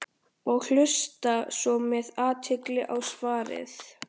og hlusta svo með athygli á svarið.